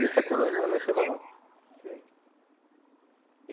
E essa coluna, ela é semanal, sei